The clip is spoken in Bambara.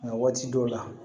Nka waati dɔw la